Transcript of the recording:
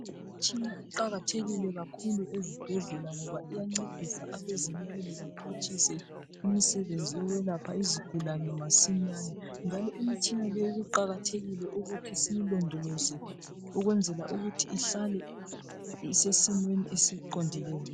Imitshina iqakathekile kakhulu ezibhedlela ngoba iyancedisa abezempilo baphutshise imisebenzi yokwelapha izigulane masinyane njalo imitshina leyi kuqakathekile ukuthi siyilondoloze ihlale isesimweni esiqondileyo